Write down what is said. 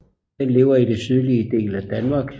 Den lever i den sydlige del af Danmark